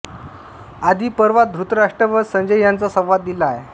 आदिपर्वात धृतराष्ट्र व संजय यांचा संवाद दिला आहे